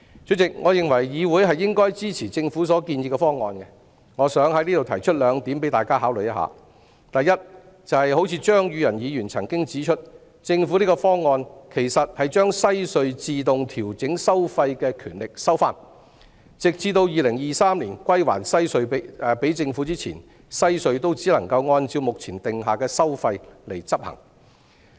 主席，我認為議會應該支持政府建議的方案，我想在此提出兩點供大家考慮：第一，正如張宇人議員指出，政府的方案其實是把西隧自動調整收費的權力收回，直至2023年歸還西隧給政府前，西隧都只能按照目前訂下的收費執行。